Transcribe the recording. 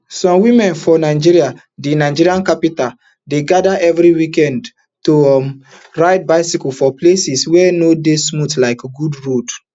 some women for nigeria di nigeria capital dey gada evri weekend to um ride bicycle for places wey no dey smooth like good roads